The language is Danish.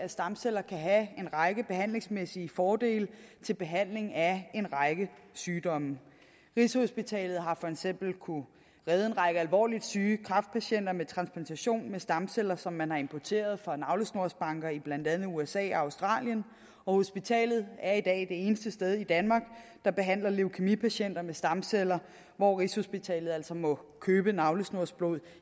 af at stamceller kan have en række behandlingsmæssige fordele ved behandling af en række sygdomme rigshospitalet har for eksempel kunnet redde en række alvorligt syge kræftpatienter med transplantation af stamceller som man har importeret fra navlesnorsbanker i blandt andet usa og australien og hospitalet er i dag det eneste sted i danmark der behandler leukæmipatienter med stamceller hvor rigshospitalet altså må købe navlesnorsblod